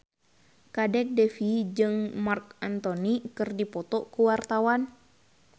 Kadek Devi jeung Marc Anthony keur dipoto ku wartawan